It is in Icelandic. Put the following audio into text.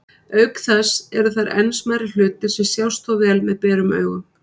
Auk þess eru þar enn smærri hlutir sem sjást þó vel með berum augum.